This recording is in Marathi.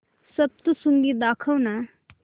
सप्तशृंगी दाखव ना